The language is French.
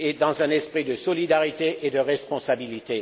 dans un esprit de solidarité et de responsabilité.